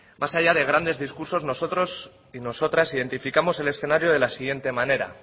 más allá de grandes discursos nosotros y nosotras identificamos el escenario de la siguiente manera